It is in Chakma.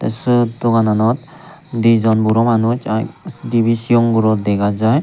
siyot dogananot degong buro manus aa dibey sigon guro dega jai.